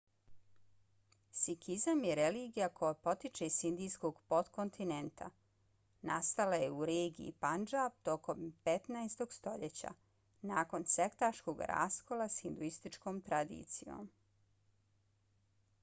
sikizam je religija koja potiče s indijskog potkontinenta. nastala je u regiji pandžab tokom 15. stoljeća nakon sektaškog raskola s hinduističkom tradicijom